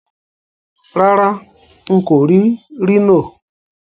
Rárá, n kò rì Rhino